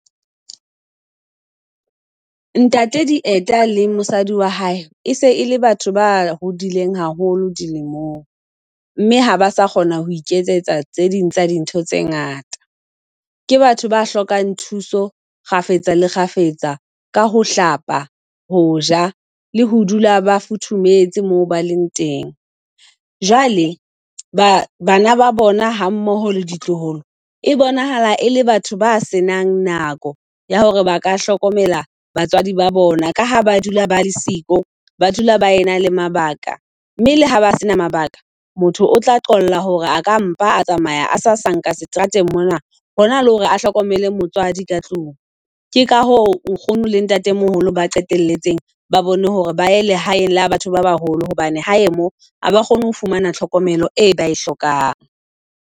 Ntate Dieta le mosadi wa hae e se e le batho ba hodileng haholo dilemong, mme ha ba sa kgona ho iketsetsa tse ding tsa dintho tse ngata. Ke batho ba hlokang thuso kgafetsa le kgafetsa ka ho hlapa, hoja le ho dula ba futhumetse moo ba leng teng. Jwale bana ba bona ha mmoho le ditloholo e bonahala e le batho ba senang nako ya hore ba ka hlokomela batswadi ba bona. Ka ha ba dula ba le siko, ba dula ba e na le mabaka. Mme le ha ba senang mabaka motho o tla qolla hore aka mpa a tsamaya a sa sa nka seterateng mona hona le hore a hlokomele motswadi ka tlung. Ke ka ho nkgono le ntatemoholo ba qetelletse ba bone hore ba ya lehaeng la batho ba baholo, hobane hae mo ha ba kgone ho fumana tlhokomelo e ba e hlokang.